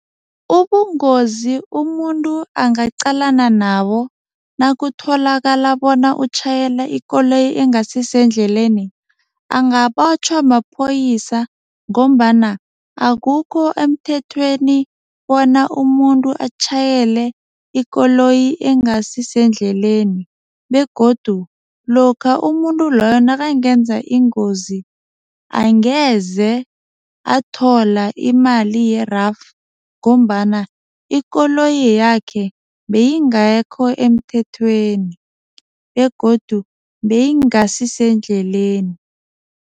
Ubungozi umuntu angaqalana nabo nakutholakala bona utjhayela ikoloyi engasisendleleni, angabotjhwa maphoyisa ngombana akukho emthethweni bona umuntu atjhayele ikoloyi engasisendleleni begodu lokha umuntu loyo nakangenza ingozi, angeze athola imali yerafu ngombana ikoloyi yakhe beyingekho emthethweni begodu beyingasisendleleni.